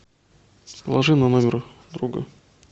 положи на номер друга